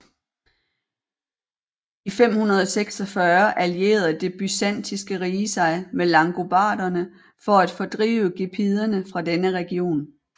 I 546 allierede Det byzantinske rige sig med langobarderne for at fordrive gepiderne fra denne region